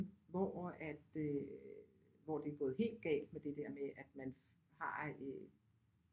Hvor at øh hvor det er gået helt galt med det der med at man har øh